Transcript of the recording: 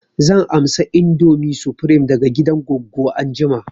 Zan amsa indomie supreme daga gidan goggo anjima